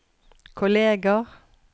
kolleger